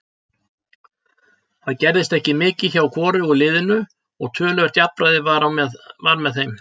Það gerðist ekki mikið hjá hvorugu liðinu og töluvert jafnræði var með þeim.